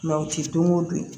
u ti don o don